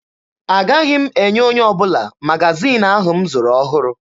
Agaghị m enye onye ọbụla magaziini ahụ m zụrụ ọhụrụ.